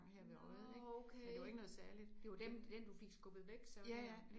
Nåh okay. Det var dem den du fik skubbet væk så der